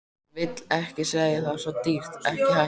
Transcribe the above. Vill ekki segja það, svo dýrt, ekki hægt.